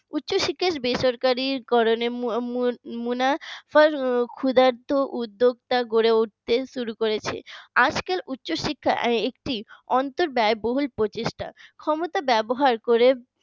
উচ্চশিক্ষা বেসরকারীকরণে মুনা মুনাফার ক্ষুধার্ত উদ্যোক্তা করে উঠতে শুরু করেছে আজকাল উচ্চশিক্ষা একটি অন্তর ব্যয়বহুল প্রচেষ্টা ক্ষমতা ব্যবহার করে